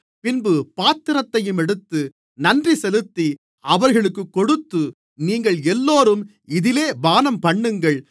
பின்பு பாத்திரத்தையும் எடுத்து நன்றிசெலுத்தி அவர்களுக்குக் கொடுத்து நீங்கள் எல்லோரும் இதிலே பானம்பண்ணுங்கள்